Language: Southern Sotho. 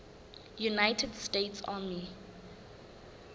united states army